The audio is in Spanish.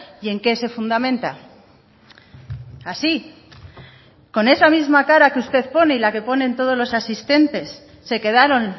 y en qué se fundamenta así con esa misma cara que usted pone y la que ponen todos los asistentes se quedaron